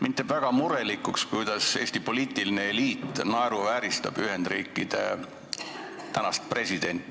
Mind teeb väga murelikuks see, kuidas Eesti poliitiline eliit naeruvääristab Ühendriikide tänast presidenti.